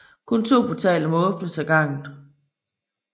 Kun to portaler må åbnes ad gangen